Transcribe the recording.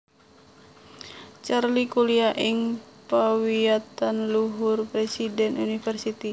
Cherly kuliah ing pawiyatanluhur President University